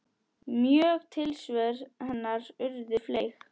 Mörg tilsvör hennar urðu fleyg.